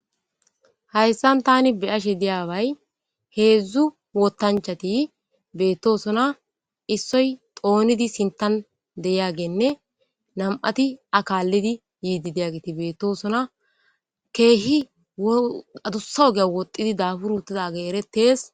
Hayssan tani be ashe deyabay heedzdzu wootanchati beettosona issoy xoonidi sintan deyageenne nam'ati akaallidi yiidi deyagiti beettosona keehi adussa ogeya woxidi dabur utida age eretees.